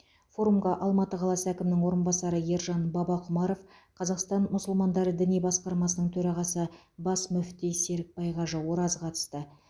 форумға алматы қаласы әкімінің орынбасары ержан бабақұмаров қазақстан мұсылмандары діни басқармасының төрағасы бас мүфти серікбай қажы ораз қатысты